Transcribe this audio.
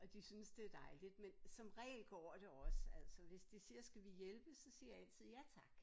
Og de synes det dejligt men som regel går det også altså hvis de siger skal vi hjælpe så siger jeg altid ja tak